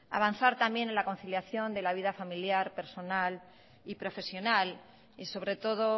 hay que avanzar también en la conciliación de la vida familiar personal y profesional y sobre todo